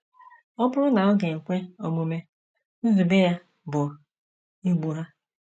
Ọ bụrụ na ọ ga - ekwe omume, nzube ya bụ igbu ha.